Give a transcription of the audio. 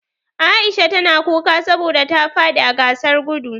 Aisha ta na kuka saboda ta fadi a gasar gudu.